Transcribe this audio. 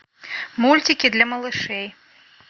мультики для малышей